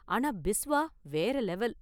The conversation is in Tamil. ஆனா பிஸ்வா வேற லெவல்.